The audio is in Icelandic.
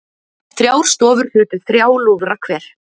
Þrjár stofur hlutu þrjá lúðra hver